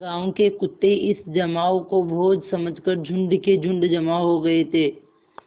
गाँव के कुत्ते इस जमाव को भोज समझ कर झुंड के झुंड जमा हो गये थे